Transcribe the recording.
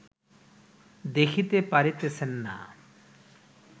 দেখিতে পারিতেছেন না